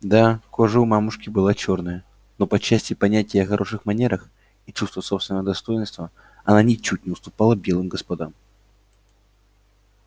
да кожа у мамушки была чёрная но по части понятия о хороших манерах и чувства собственного достоинства она ничуть не уступала белым господам